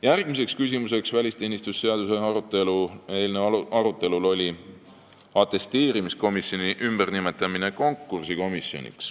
Järgmine küsimus välisteenistuse seaduse eelnõu arutelul oli atesteerimiskomisjoni ümbernimetamine konkursikomisjoniks.